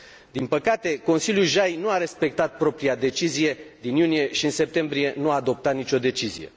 Din păcate, Consiliul JAI nu a respectat propria decizie din iunie și în septembrie nu a adoptat nicio decizie.